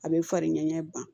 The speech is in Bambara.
A bɛ farin ɲɛ ɲɛ b'an